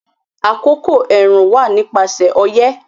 Àkókò ẹ̀rùn wà ní ipasẹ̀ ọyẹ́